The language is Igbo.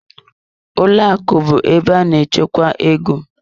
Ụlọ akụ bụ ebe a na-echekwa ego.